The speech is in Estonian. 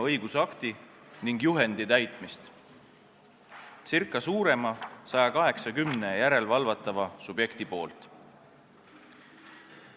– õigusakti ning juhendi täitmist umbes 180 suurema järelevalvatava subjekti poolt.